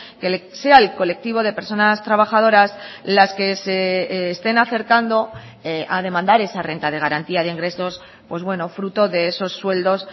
que sea el colectivo de personas trabajadoras las que se estén acercando a demandar esa renta de garantía de ingresos pues bueno fruto de esos sueldos